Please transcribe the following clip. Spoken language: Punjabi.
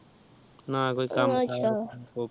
ਨਾ ਕੋਈ ਕਾਮ ਕਰ